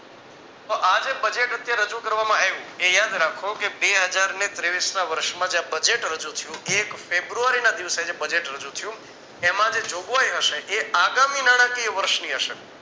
તો આ જે budget અત્યારે રજુ કરવામાં આવ્યું એ યાદ રાખો કે બે હજારને તેવીશ ના વર્ષમાં જ્યાં budget રજુ થયું. એક ફેબ્રુઆરી ના દિવસે જે budget રજુ થયું એમાં જે જોગવાઈ હશે એ આગામી નાણાંકીય વર્ષની હશે